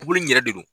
Buguri in yɛrɛ de do